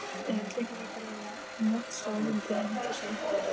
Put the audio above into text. eitt þúsund í upphafi en síðan varð félagið fyrir